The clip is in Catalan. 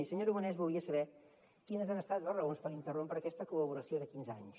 i senyor aragonès volia saber quines han estat les raons per interrompre aquesta col·laboració de quinze anys